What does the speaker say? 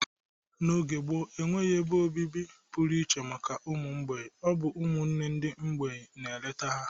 N'oge gboo, enweghi ebe obibi pụrụiche maka ụmụ mgbei. Ọ bụ ụmụnwanne ndị mgbei na-eleta ha.